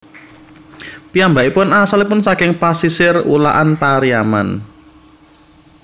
Piyambakipun asalipun saking pasisir Ulakan Pariaman